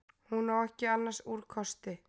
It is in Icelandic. Hún á ekki annars úrkosti.